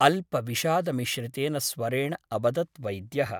अल्पविषाद मिश्रितेन स्वरेण अवदत् वैद्यः ।